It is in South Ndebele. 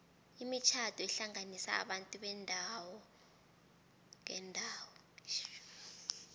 imitjhado ihlanganisa abantu beendawo ngeendawo